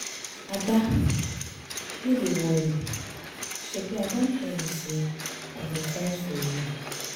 Ada, no dey worry, shebi I don tell you say I go fight for you